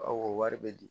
Awɔ wari be di